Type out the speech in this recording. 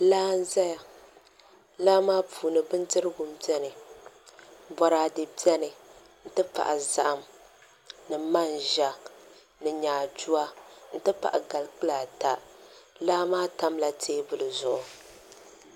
Laa n ʒɛya laa maa puuni bindirigu biɛni boraadɛ biɛni n ti pahi zaham ni manʒa ni nyaaduwa n ti pahi gali kpula ata laa maa tamla teebuli zuɣu